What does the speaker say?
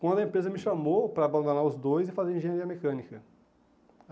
Quando a empresa me chamou para abandonar os dois e fazer engenharia mecânica.